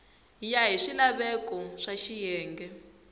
ya hi swilaveko swa xiyenge